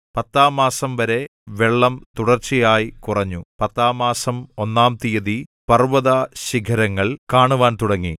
പത്താം മാസം വരെ വെള്ളം തുടർച്ചയായി കുറഞ്ഞു പത്താം മാസം ഒന്നാം തീയതി പർവ്വതശിഖരങ്ങൾ കാണുവാൻ തുടങ്ങി